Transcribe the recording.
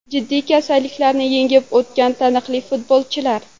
Jiddiy kasalliklarni yengib o‘tgan taniqli futbolchilar !